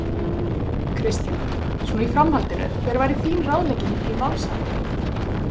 Kristjana: Svona í framhaldinu, hver væri þín ráðlegging til málsaðila?